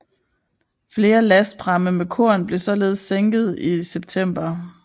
Flere lastpramme med korn blev således sænket i september